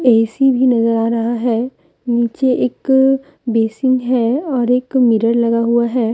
AC भी नजर आ रहा है नीचे एक बेसिन है और एक मिरर लगा हुआ है।